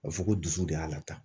A bɛ fɔ ko dusu de y'a la taa